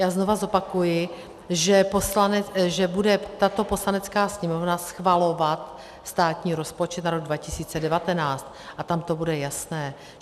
Já znova zopakuji, že bude tato Poslanecká sněmovna schvalovat státní rozpočet na rok 2019 a tam to bude jasné.